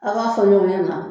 A b'a fɔ ɲɔn ɲɛna